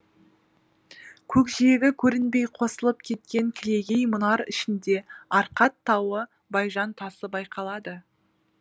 көкжиегі көрінбей қосылып кеткен кілегей мұнар ішінде арқат тауы байжан тасы байқалады